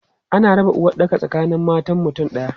Ana raba uwaɗɗaka tsakanin matan mutum ɗaya.